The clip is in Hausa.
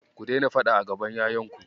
Ku daina faɗa a gaban ƴaƴanku.